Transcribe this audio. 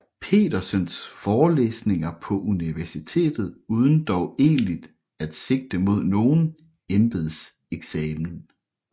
Petersens forelæsninger på universitetet uden dog egentlig at sigte mod nogen embedseksamen